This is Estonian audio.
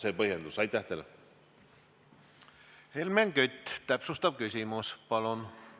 Helmen Kütt, täpsustav küsimus, palun!